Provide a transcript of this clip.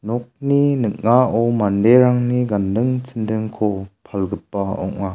nokni ning·ao manderangni ganding chindingko palgipa ong·a.